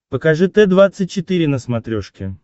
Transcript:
покажи т двадцать четыре на смотрешке